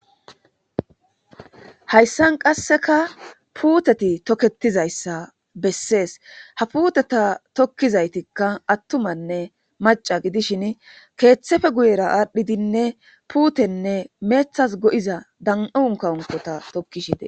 Hayssan qasseka puuteti toketizayssa bessees ha puuteta tokkizaytikka attumanne maca gidishin keeththefe guyera aadhdhidinne puutenne meethas go'iza dan.un kawunkota tokkishite.